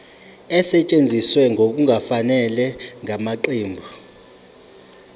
esetshenziswe ngokungafanele ngamaqembu